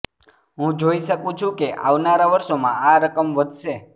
હું જોઈ શકું છું કે આવનારા વર્ષોમાં આ રકમ વધશે